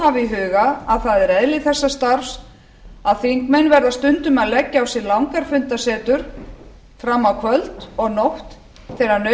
það er eðli þessa starfs að þingmenn verða stundum að leggja á sig langar fundasetur fram á kvöld og nótt þegar